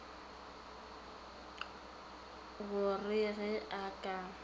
go re ge a ka